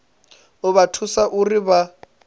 u vha thusa uri vha